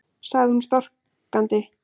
sagði hún storkandi.